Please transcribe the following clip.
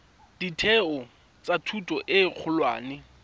ditheo tsa thuto e kgolwane